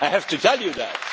I have to tell you that.